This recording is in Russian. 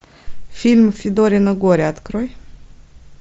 фильм федорино горе открой